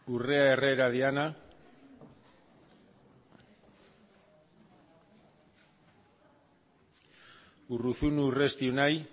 urrea herrera diana carolina urruzuno urresti unai